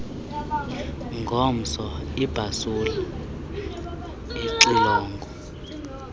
ngomthi ibhasuni ixilongo